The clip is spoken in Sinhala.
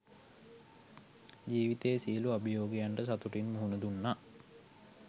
ජීවිතයේ සියලු අභියෝගයන්ට සතුටින් මුහුණ දුන්නා.